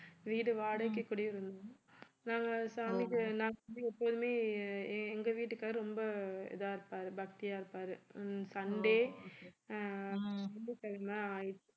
வீடு வாடகைக்கு குடியிருந்தோம் நாங்க சாமிக்கு நாங்க வந்து எப்போதுமே எங்க வீட்டுக்காரர் ரொம்ப இதா இருப்பாரு பக்தியா இருப்பாரு ஹம் சண்டே அஹ்